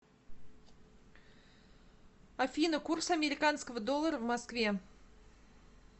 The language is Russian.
афина курс американского доллара в москве